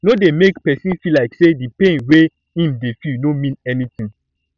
no dey make person feel like say di pain wey im dey feel no mean anything